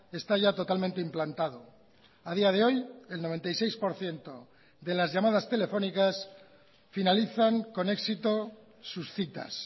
está ya totalmente implantado a día de hoy el noventa y seis por ciento de las llamadas telefónicas finalizan con éxito sus citas